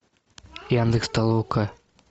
яндекс толока